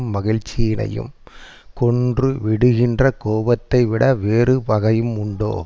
மகிழ்ச்சியினையும் கொன்றுவிடுகின்ற கோபத்தைவிட வேறு பகையும் உண்டோ